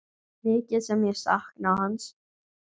Mikið sem ég sakna hans.